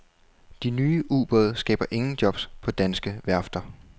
De nye ubåde skaber ingen jobs på danske værfter.